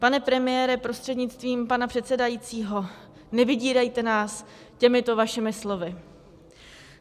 Pane premiére, prostřednictvím pana předsedajícího, nevydírejte nás těmito vašimi slovy.